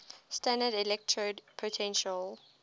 standard electrode potential